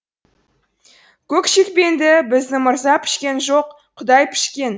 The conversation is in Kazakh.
көк шекпенді біздің мырза пішкен жоқ құдай пішкен